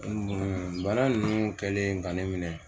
bana ninnu kɛlen ka ne minɛ